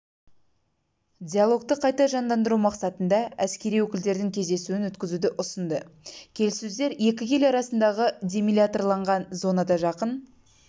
диалогты қайта жандандыру мақсатында әскери өкілдердің кездесуін өткізуді ұсынды келіссөздер екі ел арасындағы демилитарланған зонада жақын